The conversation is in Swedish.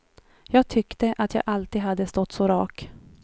Jag tyckte att jag alltid hade stått så rak.